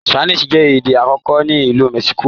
Spanish jé èdè àkókò ní Ilú Mexico.